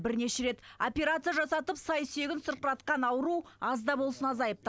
бірнеше рет операция жасатып сай сүйегін сырқыратқан ауру аз да болсын азайыпты